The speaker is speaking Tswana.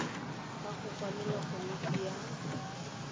ka go kwalela komiti ya